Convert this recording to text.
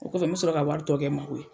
O kɔfɛ me sɔrɔ ka wari tɔ kɛ n mako ye.